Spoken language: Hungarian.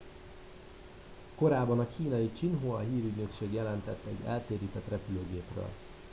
korábban a kínai xinhua hírügynökség jelentett egy eltérített repülőgépről